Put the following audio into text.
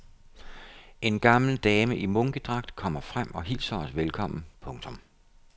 En gammel dame i munkedragt kommer frem og hilser os velkommen. punktum